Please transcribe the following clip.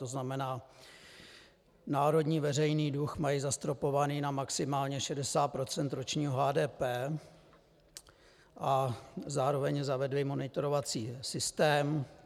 To znamená, národní veřejný dluh mají zastropovaný na maximálně 60 % ročního HDP a zároveň zavedli monitorovací systém.